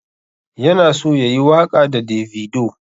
Yana so yayi waƙa da davido.